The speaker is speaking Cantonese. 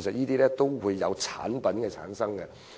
實均涉及產品的生產。